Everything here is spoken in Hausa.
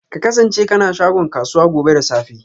Ka kasance kana shagon kasuwa gobe da safe.